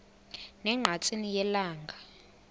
ne ngqatsini yelanga